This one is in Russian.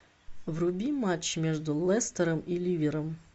вруби матч между лестером и ливером